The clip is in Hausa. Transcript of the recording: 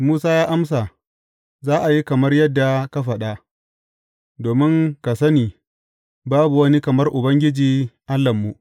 Musa ya amsa, Za a yi kamar yadda ka faɗa, domin ka sani babu wani kamar Ubangiji, Allahnmu.